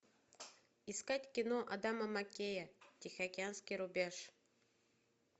искать кино адама меккея тихоокеанский рубеж